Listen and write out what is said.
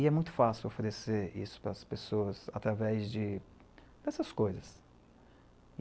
E é muito fácil oferecer isso para as pessoas através de, dessas coisas.